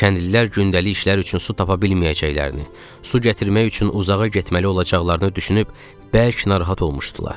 Kəndlilər gündəlik işlər üçün su tapa bilməyəcəklərini, su gətirmək üçün uzağa getməli olacaqlarını düşünüb bərk narahat olmuşdular.